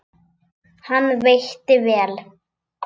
Hann veitti vel